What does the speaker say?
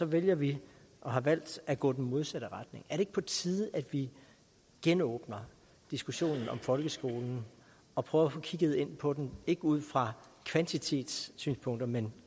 vælger vi og har valgt at gå i den modsatte retning er det ikke på tide at vi genåbner diskussionen om folkeskolen og prøver at få kigget på den ikke ud fra kvantitetssynspunkter men